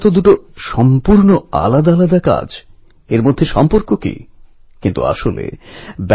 এর থেকেই প্রমাণ হয় আমাদের প্রাচীন ঐতিহ্য এবং বীর নায়কদের প্রতি যুব সমাজের আজও ক্রেজ আছে